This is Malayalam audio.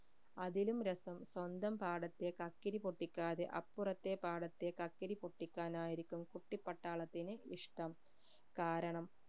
അതിലും രസം സ്വന്തം പാടത്തെ കക്കിരി പൊട്ടിക്കാതെ അപ്പുറത്തെ പാടത്തെ കക്കിരിപൊട്ടിക്കാനായിരിക്കും കുട്ടിപ്പട്ടാളത്തിന് ഇഷ്ട്ടം കാരണം